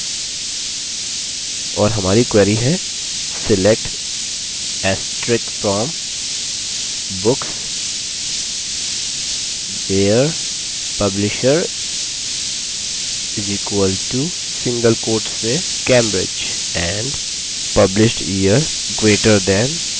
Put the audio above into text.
और हमारी query है: select * from books where publisher = cambridge and publishedyear> 1975